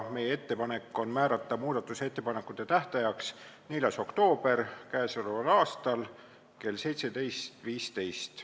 Meie ettepanek on määrata muudatusettepanekute esitamise tähtajaks 4. oktoober k.a kell 17.15.